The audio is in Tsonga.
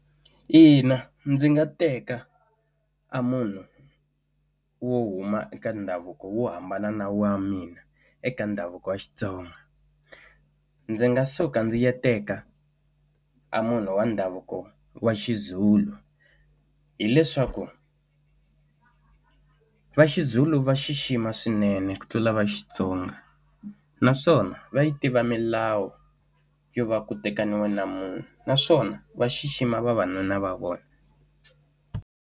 Ina ndzi nga teka a munhu wo huma eka ndhavuko wo hambana na wa mina eka ndhavuko wa Xitsonga ndzi nga suka ndzi ya teka a munhu wa ndhavuko wa xiZulu hileswaku va xizulu va xixima swinene ku tlula va Xitsonga naswona va yi tiva milawu yo va ku tekana na munhu naswona va xixima vavanuna va vona.